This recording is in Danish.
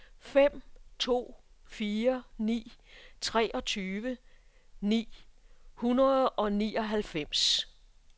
fem to fire ni treogtyve ni hundrede og nioghalvfems